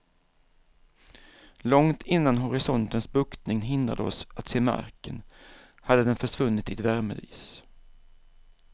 Långt innan horisontens buktning hindrade oss att se marken, hade den försvunnit i ett värmedis.